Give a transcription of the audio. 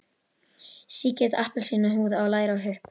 Sígild appelsínuhúð á læri og hupp.